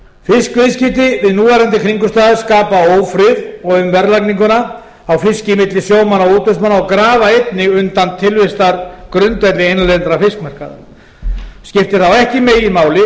fisk fiskviðskipti við núverandi kringumstæður skapa ófrið um verðlagningu á fiski milli sjómanna og útvegsmanna og grafa einnig undan tilvistargrundvelli innlendra fiskmarkaða skiptir þá ekki meginmáli